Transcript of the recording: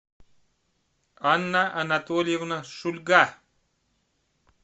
анна анатольевна шульга